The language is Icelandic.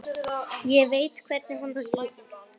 Ég veit hvernig honum líður.